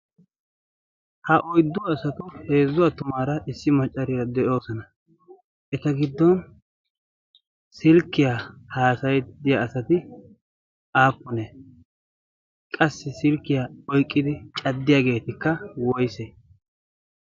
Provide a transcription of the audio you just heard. Ha oyddu asatu, heezzu attumaara, issi maaccara de'oosona. Eta giddon silkkya haassayidde diya asati aappunne? Qassi silkkiya oyqqidi caddiyaageetikka woysse.